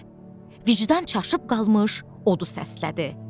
Deyə vicdan çaşıb qalmış odu səslədi.